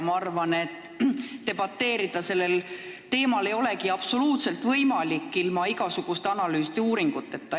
Ma arvan, et sellel teemal ilma igasuguste analüüside ja uuringuteta debateerida ei olegi võimalik.